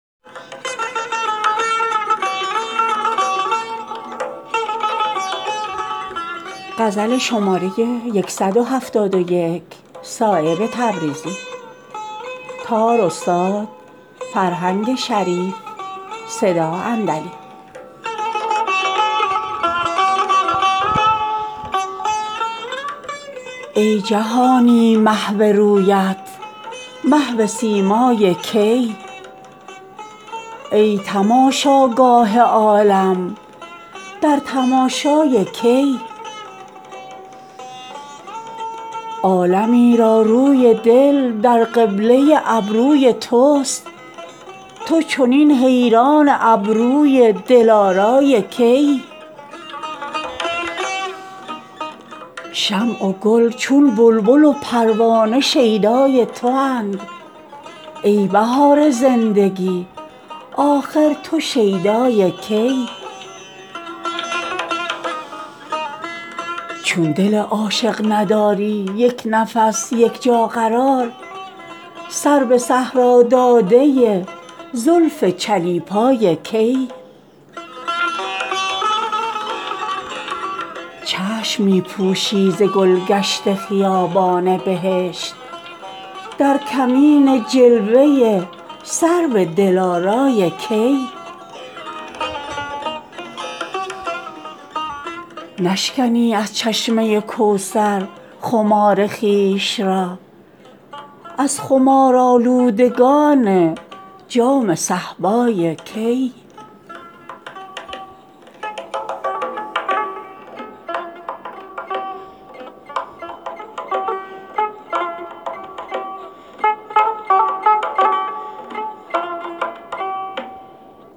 ای جهانی محو رویت محو سیمای که ای ای تماشاگاه عالم در تماشای که ای عالمی را روی دل در قبله ابروی توست تو چنین حیران ابروی دلارای که ای شمع و گل چون بلبل و پروانه شیدای تواند ای بهار زندگی آخر تو شیدای که ای نعل در آتش ز سودای تو دارد آفتاب ای سمن سیما تو سرگردان سودای که ای چون دل عاشق نداری یک نفس یک جا قرار سر به صحرا داده زلف چلیپای که ای تلخی زهر از حلاوت های عالم می کشی چاشنی گیر لب لعل شکرخای که ای چشم می پوشی ز گلگشت خیابان بهشت در کمین جلوه سرو دلارای که ای نشکنی از چشمه کوثر خمار خویش را از خمارآلودگان جام صهبای که ای نیست غمازی طریق عاشقان پرده پوش ورنه صایب خوب می داند که رسوای که ای